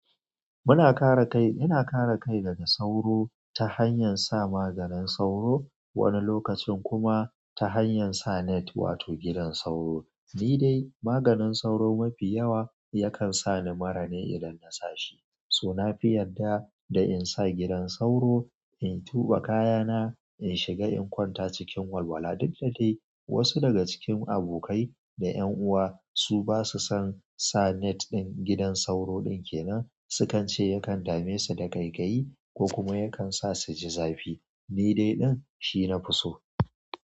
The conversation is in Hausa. Muna kare kai ina kare kai daga sauro ta hanyan sa maganin sauro wani lokacin kuma ta hanyan sa net wato gidan sauro ni dai maganin sauro mafi yawa yakan sa ni murane idan na sa shi. So na fi yadda da in sa gidan sauro, in tuɓe kaya na, in shiga in kwanta cikin walwala duk da dai wasu daga cikin abokai da ƴan uwa su basu son sa net ɗin gidan sauro ɗin kenan. Su kan ce yakan dame su da ƙaiƙayi ko kuma yakan sa su ji zafi. Ni dai ɗin shi na fi so.